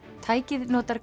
tækið notar